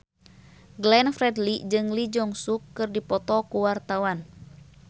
Glenn Fredly jeung Lee Jeong Suk keur dipoto ku wartawan